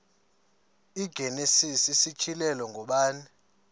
igenesis isityhilelo ngubani